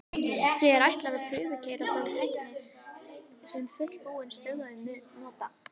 því er ætlað að prufukeyra þá tækni sem fullbúin stöð mun nota